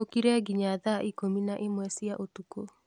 ũkire nginya thaa ikũmi na ĩmwe cia ũtukũ